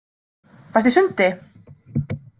Varstu í sundi?